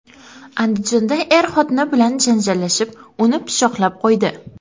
Andijonda er xotini bilan janjallashib, uni pichoqlab qo‘ydi.